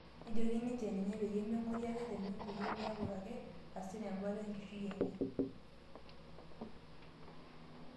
Nejoki ninje ninye peyie ming'ori ake temion peyie miaku ake hasira embata enkishui enye